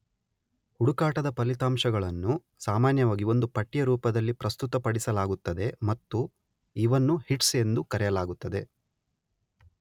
ಹುಡುಕಾಟದ ಫಲಿತಾಂಶಗಳನ್ನು ಸಾಮಾನ್ಯವಾಗಿ ಒಂದು ಪಟ್ಟಿಯ ರೂಪದಲ್ಲಿ ಪ್ರಸ್ತುತಪಡಿಸಲಾಗುತ್ತದೆ ಮತ್ತು ಇವನ್ನು ಹಿಟ್ಸ್ ಎಂದು ಕರೆಯಲಾಗುತ್ತದೆ.